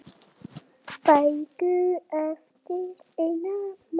Bækur eftir Einar Má.